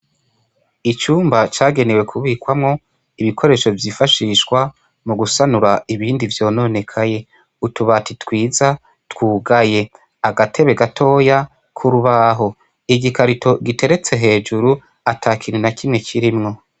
Icumba cagenewe kubikwamwo ibikoresho vyifashishwa mu gusanura ibindi vyononekaye. Utubati twiza twugaye, agatebe gatoya k'urubaho, igikarito giteretse hejuru, ata kintu na kimwe kirimwo.